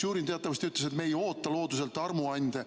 Mitšurin teatavasti ütles, et me ei oota looduselt armuande.